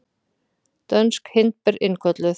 Dönsk hindber innkölluð